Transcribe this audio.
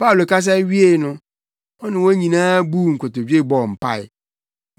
Paulo kasa wiei no, ɔne wɔn nyinaa buu nkotodwe bɔɔ mpae.